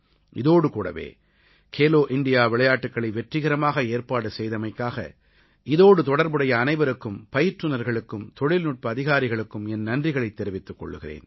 இதோடு கூடவே கேலோ இண்டியா விளையாட்டுக்களை வெற்றிகரமாக ஏற்பாடு செய்தமைக்காக இதோடு தொடர்புடைய அனைவருக்கும் பயிற்றுநர்களுக்கும் தொழில்நுட்ப அதிகாரிகளுக்கும் என் நன்றிகளைத் தெரிவித்துக் கொள்கிறேன்